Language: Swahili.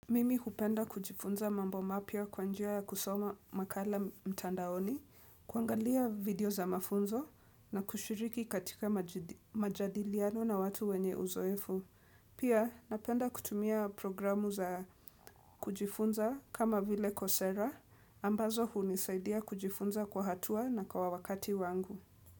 Mimi hupenda kujifunza mambo mapya kwa njia ya kusoma makala mtandaoni, kuangalia video za mafunzo na kushiriki katika majadiliano na watu wenye uzoefu. Pia napenda kutumia programu za kujifunza kama vile kosera, ambazo hunisaidia kujifunza kwa hatua na kwa wakati wangu.